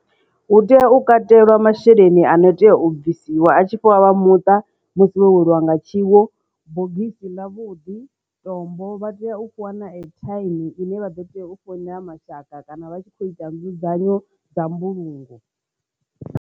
Hu tea u katelwa masheleni ano tea u bvisiwa a tshi fhiwa vha muṱa musi wo weliwa nga tshiwo bogisi ḽavhuḓi tombo vha tea u fhiwa na airtime ine vha ḓo teya u founela mashaka kana vha tshi kho ita nzudzanyo dza mbulungo.